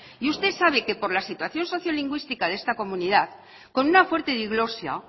y usted sabe que por la situación social lingüística de esta comunidad con una fuerte diglosia